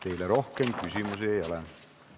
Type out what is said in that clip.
Teile rohkem küsimusi ei ole.